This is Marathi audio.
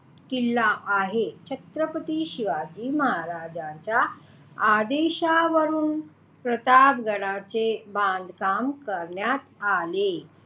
किल्ला आहे छत्रपती शिवाजी महाराज्यांच्या आदेशावरून प्रतापगडाचे बांधकाम करण्यात आले.